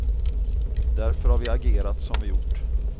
Därför har vi agerat som vi gjort.